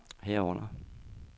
herunder